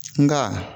Nka